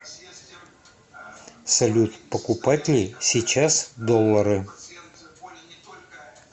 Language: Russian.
салют покупать ли сейчас доллары